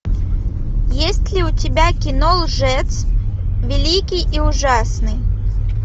есть ли у тебя кино лжец великий и ужасный